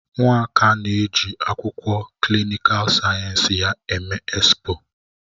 Nwaka na-eji akwụkwọ klịnịkal sayensị ya eme expo.